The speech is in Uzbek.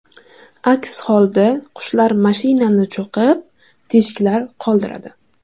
Aks holda qushlar mashinani cho‘qib, teshiklar qoldiradi.